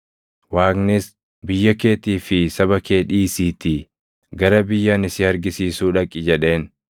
Waaqnis, ‘Biyya keetii fi saba kee dhiisiitii gara biyya ani si argisiisuu dhaqi’ + 7:3 \+xt Uma 12:1\+xt* jedheen.